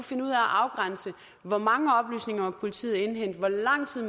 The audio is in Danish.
finde ud af at afgrænse hvor mange oplysninger politiet må indhente hvor lang tid